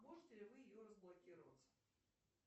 можете ли вы ее разблокировать